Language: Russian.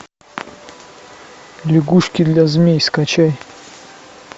лягушки для змей скачай